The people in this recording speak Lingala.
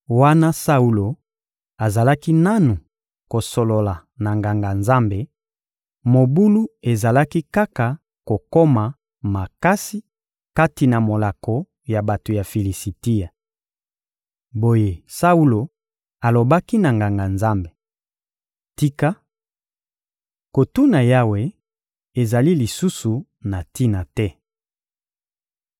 Wana Saulo azalaki nanu kosolola na Nganga-Nzambe, mobulu ezalaki kaka kokoma makasi kati na molako ya bato ya Filisitia. Boye Saulo alobaki na Nganga-Nzambe: «Tika! Kotuna Yawe ezali lisusu na tina te.»